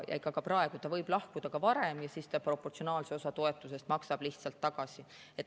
Ka praegu võib ta lahkuda varem ja siis ta proportsionaalse osa toetusest maksab lihtsalt tagasi.